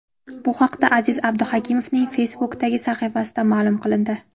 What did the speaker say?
Bu haqda Aziz Abduhakimovning Facebook’dagi sahifasida ma’lum qilindi.